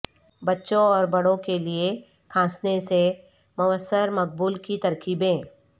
بچوں اور بڑوں کے لئے کھانسنے سے موثر مقبول کی ترکیبیں